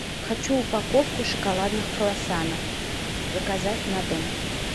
хочу упаковку шоколадных круассанов заказать на дом